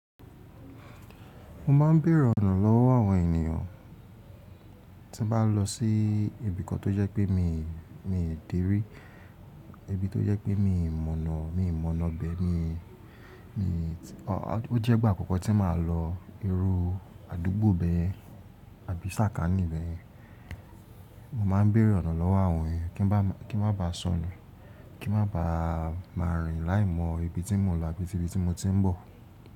Mo ma ń béèrè ọ̀nà lọ́wọ́ àwọn ènìyàn tí bá lọ sí ibi kan tó jẹ́ pé mi, mi ò dé rí, ibi tó jẹ́ pé mi ò mọ̀nà, mi ò mọ̀nà bẹ́ẹ̀ ni, mi, ó jẹ́ ìgbà àkọ́kọ́ tí màá lọ irú àdúgbò bẹ́ẹ̀ àbí sàkání bẹ́ẹ̀. Mo ma ń béèrè ọ̀nà lọ́wọ́ àwọn èèyàn kí bá ma, kí n má ba sọnù, kí n má ba má rìn láìmọ̀ ibi tí mò ń lọ àti ibi tí mo ti ń bọ̀.